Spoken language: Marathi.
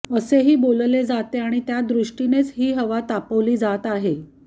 असेही बोलले जाते आणि त्यादृष्टीनेच ही हवा तापवली जात आहे